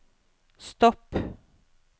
stopp